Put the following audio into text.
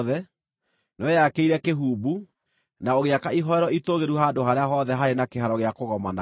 nĩweyakĩire kĩhumbu, na ũgĩaka ihooero itũũgĩru handũ harĩa hothe haarĩ na kĩhaaro gĩa kũgomanagwo.